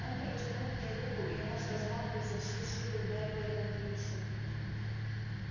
он протянул к ней руку и она с размаху изо всей силы ударила его по лицу